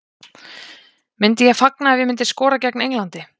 Myndi ég fagna ef ég myndi skora gegn Englandi?